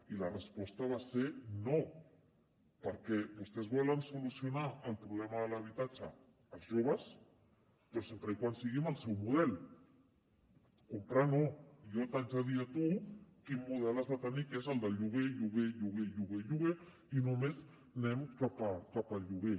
i la resposta va ser no perquè vostès volen solucionar el problema de l’habitatge als joves però sempre que sigui amb el seu model comprar no jo t’haig de dir a tu quin model has de tenir que és el del lloguer lloguer lloguer lloguer o lloguer i només anem cap al lloguer